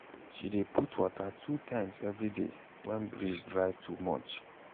she dey put water two times every day when breeze dry too much.